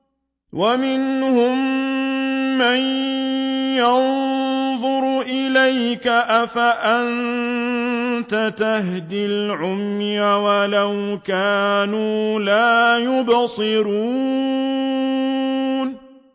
وَمِنْهُم مَّن يَنظُرُ إِلَيْكَ ۚ أَفَأَنتَ تَهْدِي الْعُمْيَ وَلَوْ كَانُوا لَا يُبْصِرُونَ